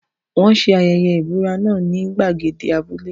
Wọ́n ṣe ayẹyẹ ìbúra náà ní gbàgede abúlé.